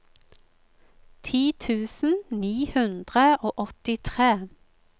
ti tusen ni hundre og åttitre